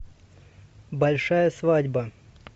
большая свадьба